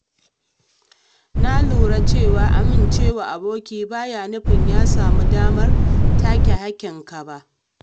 Na lura cewa amince wa aboki baya nufin ya samu damar take hakkinka ba.